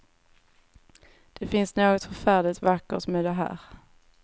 Det finns något förfärligt vackert med det här.